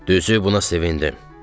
Düzü, buna sevindim.